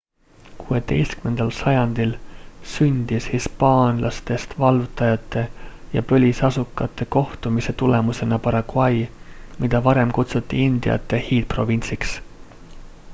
16 sajandil sündis hispaanlastest vallutajate ja põlisasukate kohtumise tulemusena paraguay mida varem kutsuti indiate hiidprovintsiks